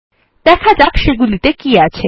দেখা যাক সেগুলিতে কী আছে